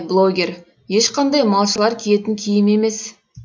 блогер ешқандай малшылар киетін киім емес